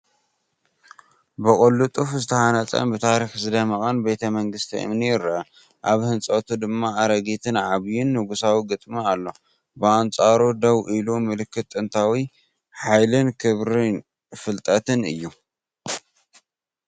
ብቕልጡፍ ዝተሃንጸን ብታሪኽ ዝደምቕን ቤተ መንግስቲ እምኒ ይርአ። ኣብ ህንጸቱ ድማ ኣረጊትን ዓብይን ንጉሳዊ ግጥሚ ኣሎ። ብኣንጻሩ ደው ኢሉ፡ ምልክት ጥንታዊ ሓይልን ክብሪ ፍልጠትን እዩ።